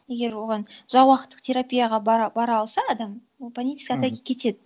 егер оған терапияға бара алса адам ол панические атаки кетеді